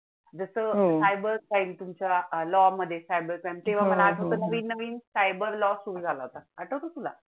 जसं CYBER crime हो तुमच्या law मध्ये cyber crime हो हो तेंव्हा मला आठवत नवीन नवीन cyber law सुरू झाला होता आठवतंय तुला?